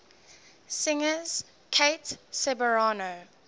singers kate ceberano